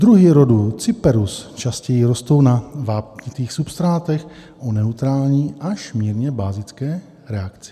Druhy rodu Cyperus častěji rostou na vápnitých substrátech o neutrální až mírně bazické reakci.